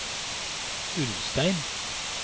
Ulstein